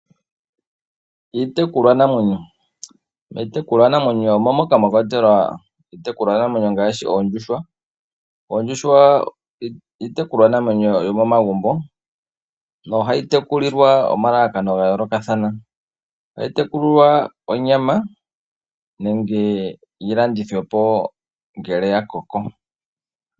Iitekulwanamwenyo omo moka mwa kwatelwa iitekulwanamwenyo ngaashi oondjuhwa. Oondjuhwa iitekulwanamwenyo yomomagumbo nohayi tekulilwa omalalakano ga yoolokathana ohayi tekulilwa onyama nenge yi landithwepo ngele dha koko.